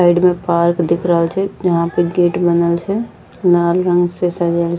साइड में पार्क दिख रहल छै जहाँ पे गेट बनल छै लाल रंग से सजेल --